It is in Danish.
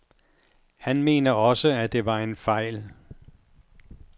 Han mener også, at det var en fejl.